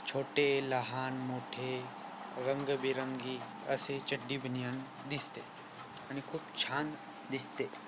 छोटे लहान मोठे रंगबिरंगी असे चड्डी बनियान दिसते आणि खूप छान दिसते.